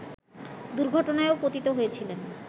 দুর্ঘটনায়ও পতিত হয়েছিলেন